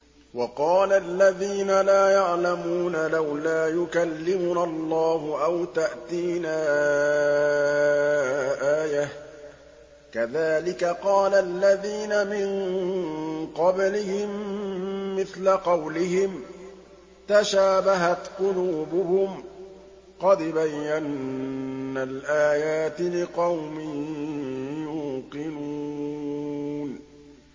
وَقَالَ الَّذِينَ لَا يَعْلَمُونَ لَوْلَا يُكَلِّمُنَا اللَّهُ أَوْ تَأْتِينَا آيَةٌ ۗ كَذَٰلِكَ قَالَ الَّذِينَ مِن قَبْلِهِم مِّثْلَ قَوْلِهِمْ ۘ تَشَابَهَتْ قُلُوبُهُمْ ۗ قَدْ بَيَّنَّا الْآيَاتِ لِقَوْمٍ يُوقِنُونَ